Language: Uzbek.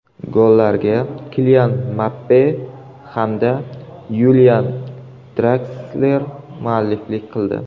Gollarga Kilian Mbappe hamda Yulian Draksler mualliflik qildi.